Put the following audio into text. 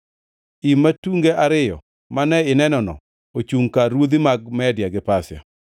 Im matunge ariyo mane inenono ochungʼ kar ruodhi mag Media gi Pasia.